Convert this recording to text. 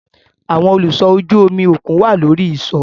Awọn oluṣọ ojú omi okun wa lori iṣọ